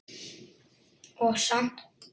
Og samt.